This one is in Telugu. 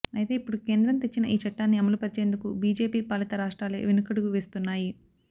అయితే ఇప్పుడు కేంద్రం తెచ్చిన ఈ చట్టాన్ని అమలు పరిచేందుకు బీజేపీ పాలిత రాష్ట్రాలే వెనకడుగు వేస్తున్నాయి